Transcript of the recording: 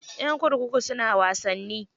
Ƴan kurkuku suna wasanni.